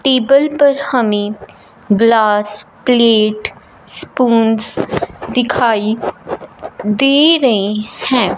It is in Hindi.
टेबल पर हमें ग्लास प्लेट स्पूंस दिखाई दे रहे हैं।